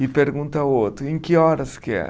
E pergunta ao outro, em que horas que é?